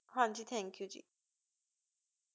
ਹਨ ਜੀ thank you ਜੀ